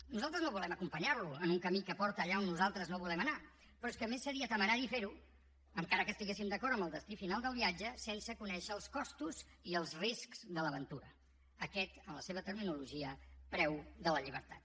nosaltres no volem acompanyarlo en un camí que porta allà on nosaltres no volem anar però és que a més seria temerari ferho encara que estiguéssim d’acord amb el destí final del viatge sense conèixer els costos i els riscs de l’aventura aquest en la seva terminologia preu de la llibertat